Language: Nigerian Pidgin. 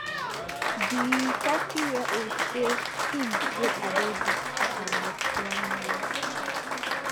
di thirtyyearold say im date adaidu for about one year